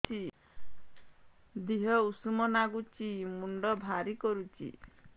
ଦିହ ଉଷୁମ ନାଗୁଚି ମୁଣ୍ଡ ଭାରି କରୁଚି